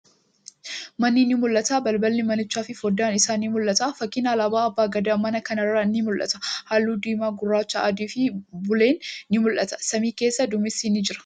Manni ni mul'ata. Balballi manichaa fi foddaan isaa ni mul'ata. Fakkiin alaabaa abbaa gadaa mana kanarraa ni mul'ata. Haalluu diimaa, gurraacha, adii fi buleen ni mul'ata. Samii keessa duumessi ni jira.